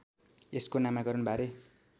यसको नामाकरण बारे